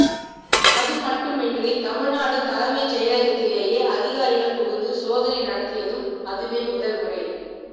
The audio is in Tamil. அதுமட்டுமின்றி தமிழ்நாடு தலைமைச் செயலகத்திலேயே அதிகாரிகள் புகுந்து சோதனை நடத்தியதும் அதுவே முதல்முறை